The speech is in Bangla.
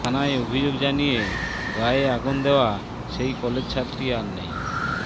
থানায় অভিযোগ জানিয়ে গায়ে আগুন দেওয়া সেই কলেজছাত্রী আর নেই